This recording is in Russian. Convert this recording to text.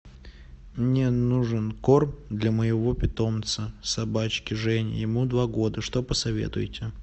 мне нужен корм для моего питомца собачки жени ему два года что посоветуете